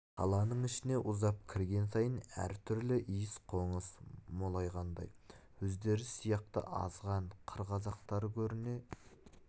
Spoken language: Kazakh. қаланың ішіне ұзап кірген сайын әр түрлі иіс-қоныс молайғандай өздері сияқты азған қыр қазақтары көріне